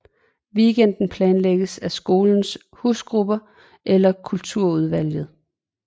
Weekenden planlægges af skolens husgrupper eller Kulturudvalget